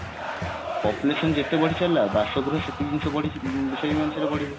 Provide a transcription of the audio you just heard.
population ଯେତେ ବଢି ଚାଲିଲା ବାସଗୃହ ସେତିକି ଜିନିଷ ବଢି ସେଇ ଅନୁସାରେ ବଢିବ